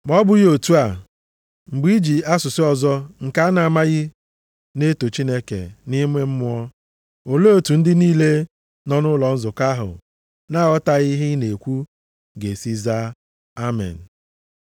Ma o bụghị otu a, mgbe i ji asụsụ ọzọ nke a na-amaghị na-eto Chineke nʼime mmụọ, olee otu ndị niile nọ nʼụlọ nzukọ ahụ na-aghọtaghị ihe ị na-ekwu ga-esi zaa Amen?